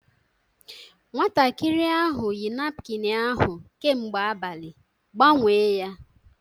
Nwatakịrị ahụ yi napkịn ahụ kemgbe abalị, gbanwee ya!